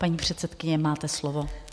Paní předsedkyně, máte slovo.